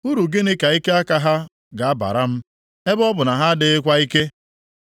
Uru gịnị ka ike aka ha ga-abara m, ebe ọ bụ na ha adịghịkwa ike?